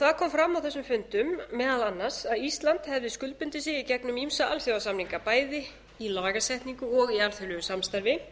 það kom fram á þessum fundum meðal annars að ísland hefði skuldbundið sig í gegnum ýmsa alþjóðasamninga bæði í lagasetningu og í alþjóðlegu samstarfi